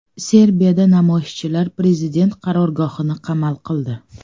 Serbiyada namoyishchilar prezident qarorgohini qamal qildi.